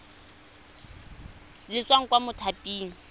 le le tswang kwa mothaping